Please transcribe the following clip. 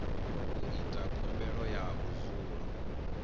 u ita khumbelo ya vhudzulo